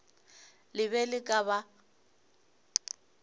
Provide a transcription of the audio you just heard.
le be le ka ba